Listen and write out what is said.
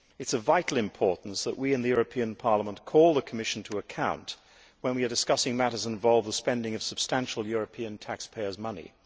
It is of vital importance that we in the European Parliament call the Commission to account when we are discussing matters involved with the spending of substantial sums of European taxpayers' money.